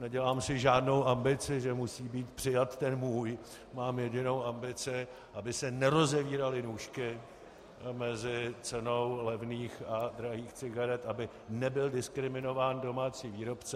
Nedělám si žádnou ambici, že musí být přijat ten můj, mám jedinou ambici - aby se nerozevíraly nůžky mezi cenou levných a drahých cigaret, aby nebyl diskriminován domácí výrobce.